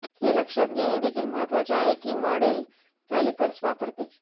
हे लक्षात घेणे देखील महत्त्वाचे आहे की मॉडेल कॅलीपर्स वापरते